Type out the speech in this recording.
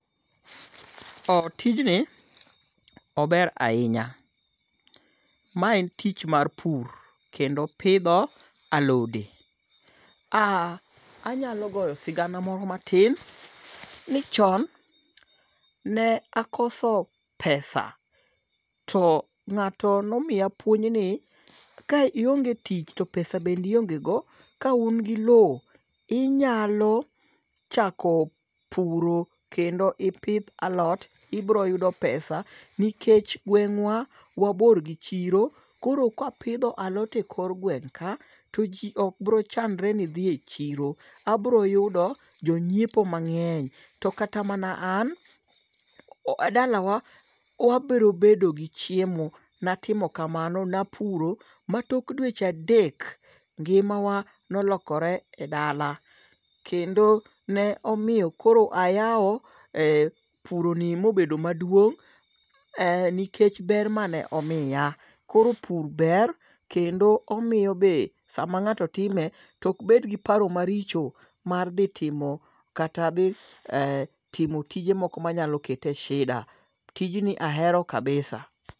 Tijni ober ahinya. Mae en tich mar pur kendo pidho alode. Anyalo goyo sigana moro matin ni chon ne akoso pesa to n'gato nomiya puonj ni ka ionge tich to pesa bende ionge go ka un gi low inyalo chako puro kendo ipidh alot, ibiro yudo pesa nikech gweng' wa wabor gi chiro. Koro Kwa pidho alot e kor gweng ka ji obro chandre ni dhi e chiro. Abiro yudo jonyiepo mang'eny. To kata mana an dalawa wabiro bedo gi chiemo. Natimo kamano, napuro ma tok dweche adek, ngima wa nolokore e dala. Kendo ne omiyo koro ayaw puro ni mobedo madwong' nikech ber mane omiya. Koro pur ber kendo omiyo be sama ng'ato time tok bed gi paro maricho mar dhi timo kata dhi timo tijemoko manyalo kete e sida. Tijni ahero kabisa.